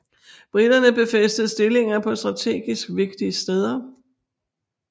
Briterne befæstede stillinger på strategisk vigtige steder